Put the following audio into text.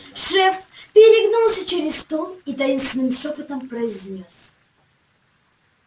шеф перегнулся через стол и таинственным шёпотом произнёс